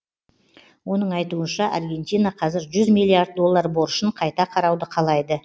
оның айтуынша аргентина қазір жүз миллиард доллар борышын қайта қарауды қалайды